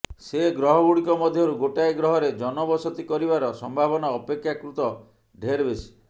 ସେ ଗ୍ରହଗୁଡ଼ିକ ମଧ୍ୟରୁ ଗୋଟାଏ ଗ୍ରହରେ ଜନବସତି କରିବାର ସମ୍ଭାବନା ଅପେକ୍ଷାକୃତ ଢେର୍ ବେଶି